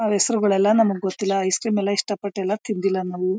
ಅಹ್ ಹೆಸರುಗಳೆಲ್ಲ ನಮಗೆ ಗೊತ್ತಿಲ್ಲ. ಐಸ್ಕ್ರೀಮಿಲ್ಲ ಇಷ್ಟಪಟ್ಟೆಲ್ಲ ತಿಂದಿಲ್ಲ ನಾವು.